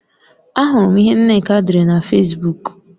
Ahụrụ m ihe Nneka dere na Fesbuk